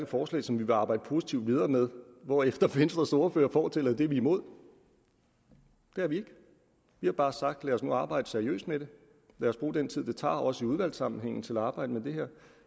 forslag som vi vil arbejde positivt videre med hvorefter venstres ordfører fortæller at det er vi imod det er vi ikke vi har bare sagt lad os nu arbejde seriøst med det lad os bruge den tid det tager også i udvalgssammenhæng til at arbejde med det her